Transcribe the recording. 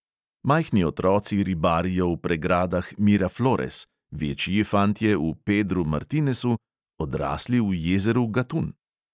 Majhni otroci ribarijo v pregradah miraflores, večji fantje v pedru martinesu, odrasli v jezeru gatun.